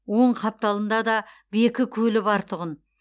оң қапталында да бекі көлі бар тұғын